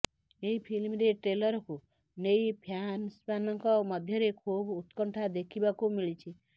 ଏହି ଫିଲ୍ମର ଟ୍ରେଲରକୁ ନେଇ ଫ୍ୟାନସମାନଙ୍କ ମଧ୍ୟରେ ଖୁବ ଉତ୍କଣ୍ଠା ଦେଖିବାକୁ ମିଳିଛି